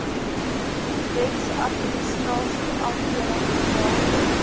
wetsadministrasie afdeling betaal